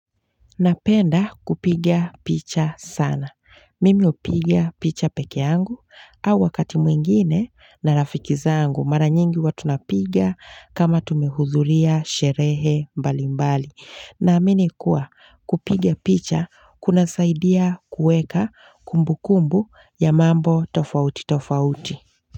Napenda kupiga picha sana. Mimi hupiga picha pekeangu au wakati mwingine na rafiki zaangu mara nyingi huwa tunapiga kama tumehudhuria sherehe mbali mbali. Naamini kuwa kupiga picha kunasaidia kuweka kumbukumbu ya mambo tofauti tofauti.